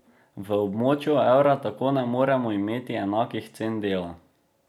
V območju evra tako ne moremo imeti enakih cen dela.